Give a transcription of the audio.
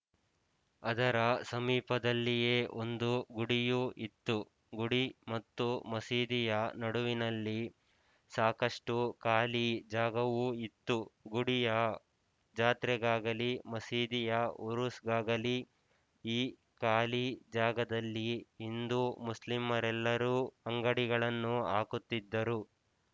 ಅದರ ಸಮೀಪದಲ್ಲಿಯೇ ಒಂದು ಗುಡಿಯೂ ಇತ್ತು ಗುಡಿ ಮತ್ತು ಮಸೀದಿಯ ನಡುವಿನಲ್ಲಿ ಸಾಕಷ್ಟು ಖಾಲಿ ಜಾಗವೂ ಇತ್ತು ಗುಡಿಯ ಜಾತ್ರೆಗಾಗಲಿ ಮಸೀದಿಯ ಉರೂಸ್‍ಗಾಗಲಿ ಈ ಖಾಲಿ ಜಾಗದಲ್ಲಿ ಹಿಂದೂ ಮುಸ್ಲಿಮರೆಲ್ಲರೂ ಅಂಗಡಿಗಳನ್ನು ಹಾಕುತ್ತಿದ್ದರು